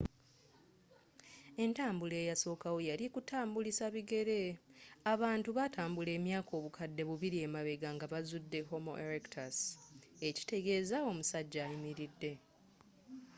entambula eyasokawo yali ya kutambulisa bigere abantu batambula emyaka obukadde bibili emabegga nga bazzude homo erectus ekitegezza omussajja ayimilidde